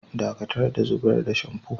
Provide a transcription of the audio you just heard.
Ɗakatar da zubar da shamfu!